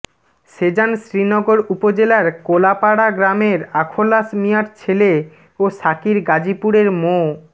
সেজান শ্রীনগর উপজেলার কোলাপাড়া গ্রামের আখলাস মিয়ার ছেলে ও সাকির গাজীপুরের মো